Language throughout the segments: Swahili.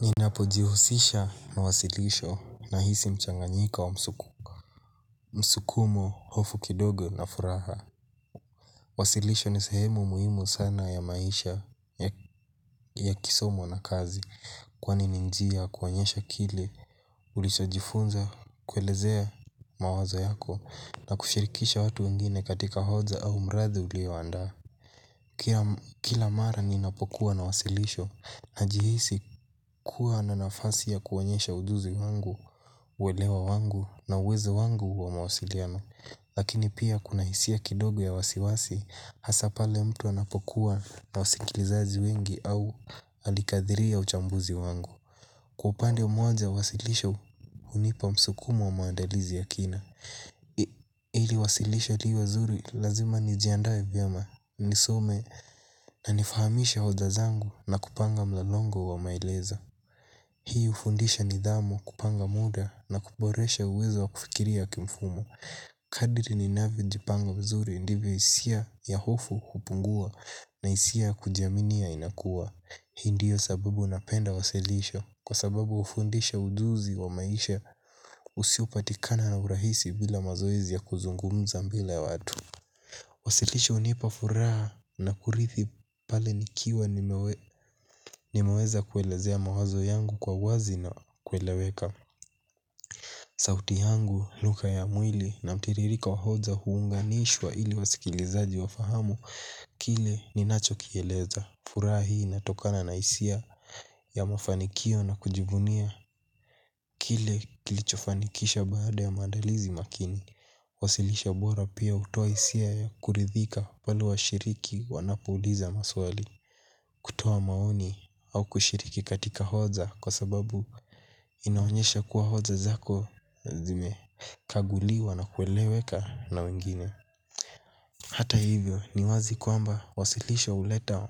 Ninapojihusisha na wasilisho nahisi mchanganyiko wa msukumo, hofu kidogo na furaha. Wasilisho ni sehemu muhimu sana ya maisha ya kisomo na kazi. Kwani ni njia kuonyesha kile ulishajifunza kuelezea mawazo yako na kushirikisha watu wengine katika hoja au mradi ulioandaa. Kila mara ninapokuwa na wasilisho najihisi kuwa na nafasi ya kuonyesha ujuzi wangu uelewa wangu na uwezo wangu wa mawasiliano. Lakini pia kuna hisia kidogo ya wasiwasi. Hasa pale mtu anapokuwa na wasikilizaji wengi au alikadiria uchambuzi wangu. Kwa upande mmoja wasilisho hunipa msukumo wa maandalizi ya kina. Ili wasilisho liwe zuri lazima nijiandaee vyama. Nisome na nifahamisha hoja zangu na kupanga mlolongo wa maelezo hii hufundisha nidhamu, kupanga muda na kuboresha uwezo wa kufikiria kimfumo. Kadrii ni ninavyojipanga mzuri ndipo hisia ya hofu kupungua na hisia ya kujiaminia inakuwa hii ndiyo sababu napenda wasilisho kwa sababu hufundisha ujuzi wa maisha usiopatikana na urahisi bila mazoezi ya kuzungumza mbele ya watu. Wasilisho hunipa furaha na kurithi pale nikiwa nimewe nimeweza kuelezea mawazo yangu kwa uwazi na kueleweka. Sauti yangu, lugha ya mwili na mtiririko wa hoja huunganishwa ili wasikilizaji wafahamu kile ninachokieleza. Furaha inatokana na hisia ya mafanikio na kujivunia kile kilichofanikisha baada ya maandalizi makini. Wasilisho bora pia hutoa hisia ya kuridhika pale washiriki wanapouliza maswali. Kutoa maoni au kushiriki katika hoja kwa sababu inaonyesha kuwa hoja zako zime. Kaguliwa na kueleweka na wengine hata hivyo ni wazi kwamba wasilisho huleta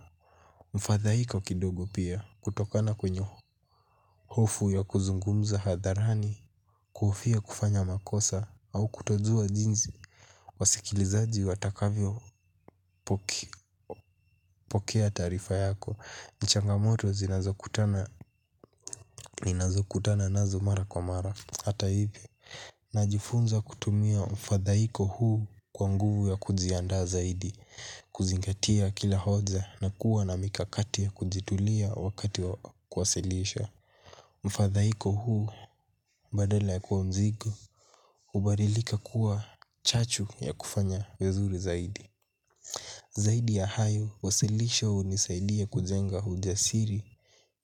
mfadhaiko kidogo pia kutokana kwenye hofu ya kuzungumza hadharani. Kuhofia kufanya makosa au kutojua jinsi wasikilizaji watakavyo pokea taarifa yako ni changamoto ninazokutana nazo mara kwa mara. Hata hivyo najifunza kutumia mfadhaiko huu kuwa nguvu ya kujiandaa zaidi, kuzingatia kila hoja na kuwa na mikakati ya kujitulia wakati wa kuwasilisha mfadhaiko huu badala ya kuwa mzigo hubadilika kuwa chachu ya kufanya vizuri zaidi. Zaidi ya hayo, wasilisho huu hunisailia kujenga hujasiri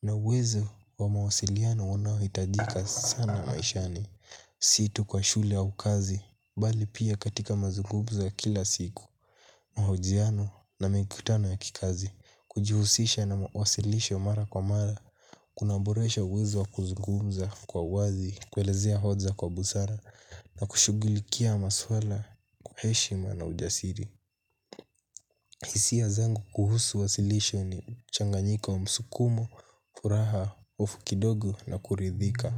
na uwezo wa mawasiliano unaohitajika sana maishani. Si tu kwa shule au kazi bali pia katika mazungumzo ya kila siku mahojiano na mikutano ya kikazi kujihusisha na wasilisho mara kwa mara. Kuna boresha uwezo kuzungumza kwa wazi kuelezea hoja kwa busara na kushughulikia maswala kwa heshima na ujasiri. Hisia zangu kuhusu wasilisho ni mchanganyiko wa msukumo furaha hofu kidogo na kuridhika.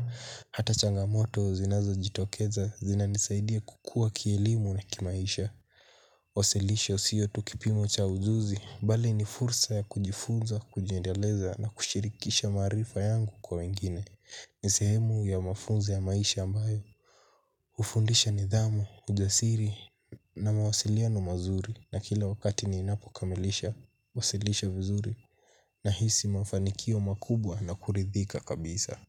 Hata changamoto zinazo jitokeza zinanisaidia kukua kielimu na kimaisha. Wasilisho siyo tu kipimo cha ujuzi bali ni fursa ya kujifunza, kujiendeleza na kushirikisha maarifa yangu kwa wengine ni sehemu ya mafunzo ya maisha ambayo hufundisha nidhamu, ujasiri na mawasiliano mazuri. Na kila wakati ninapo kamilisha, wasilisho vizuri. Nahisi mafanikio makubwa na kuridhika kabisa.